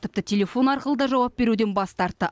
тіпті телефон арқылы да жауап беруден бас тартты